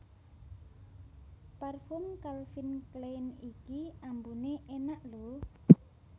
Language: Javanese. Parfum Calvin Klein iki ambune enak lho